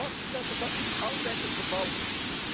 We hebben vastgesteld dat dat niet altijd het geval is.